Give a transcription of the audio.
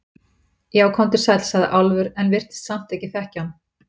Já, komdu sæll, sagði Álfur, en virtist samt ekki þekkja hann.